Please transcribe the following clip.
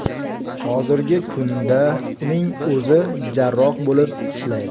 Hozirgi kunda uning o‘zi jarroh bo‘lib ishlaydi.